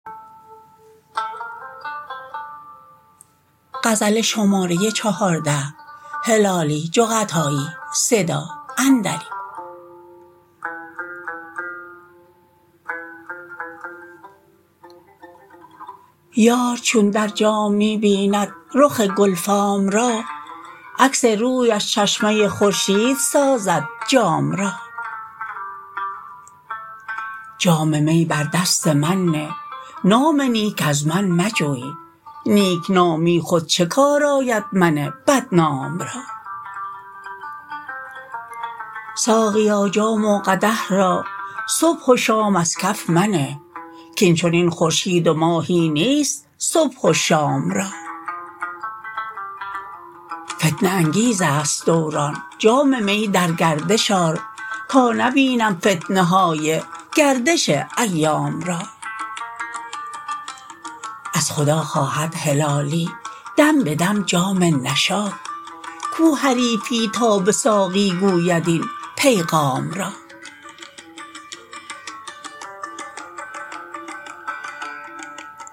یار چون در جام می بیند رخ گل فام را عکس رویش چشمه خورشید سازد جام را جام می بر دست من نه نام نیک از من مجوی نیک نامی خود چه کار آید من بدنام را ساقیا جام و قدح را صبح و شام از کف منه کاین چنین خورشید و ماهی نیست صبح و شام را فتنه انگیز است دوران جام می در گردش آر تا نبینم فتنه های گردش ایام را از خدا خواهد هلالی دم به دم جام نشاط کو حریفی تا به ساقی گوید این پیغام را